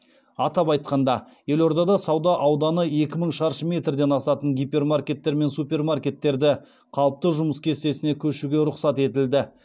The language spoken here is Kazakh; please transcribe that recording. атап айтқанда елордада сауда ауданы екі мың шаршы метрден асатын гипермаркеттер мен супермаркеттерді қалыпты жұмыс кестесіне көшуге рұқсат етілді